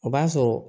O b'a sɔrɔ